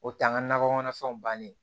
O t'an ka nakɔ kɔnɔfɛnw bannen